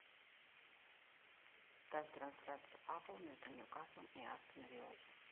ставь трансляцию апл между ньюкаслом и астон виллой